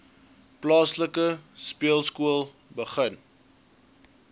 plaaslike speelskool begin